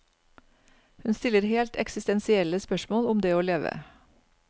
Hun stiller helt eksistensielle spørsmål om det å leve.